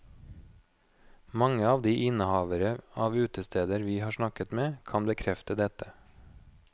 Mange av de innehavere av utesteder vi har snakket med, kan bekrefte dette.